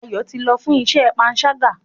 Ayo tí lọ fún iṣé panṣaga.